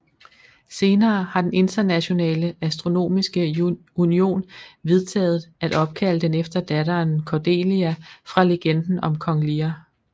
Senere har den Internationale Astronomiske Union vedtaget at opkalde den efter datteren Cordelia fra legenden om Kong Lear